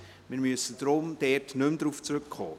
Wir müssen nicht mehr darauf zurückkommen.